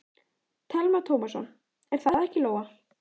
Telma Tómasson: Er það ekki Lóa?